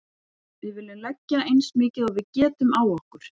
Við viljum leggja eins mikið og við getum á okkur.